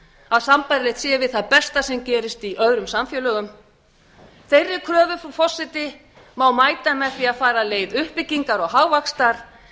að sambærilegt sé við það besta sem gerist við öðrum samfélögum þeirri leið frú forseti má mæta með því að fara leið uppbyggingar og hagvaxtar